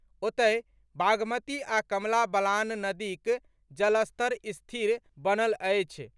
ओतहि, बागमती आ कमला बलान नदीक जलस्तर स्थिर बनल अछि।